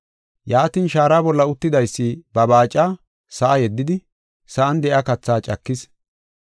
Yaatin shaara bolla uttidaysi ba baaca sa7a yeddidi, sa7an de7iya kathaa cakis.